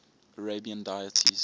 arabian deities